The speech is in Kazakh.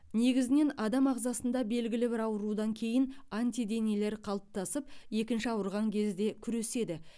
негізінен адам ағзасында белгілі бір аурудан кеиін антиденелер қалыптасып екінші ауырған кезде күреседі